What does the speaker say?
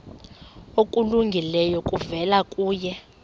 okulungileyo kuvela kuye